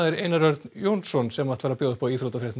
Einar Örn Jónsson ætlar að bjóða upp á í íþróttafréttum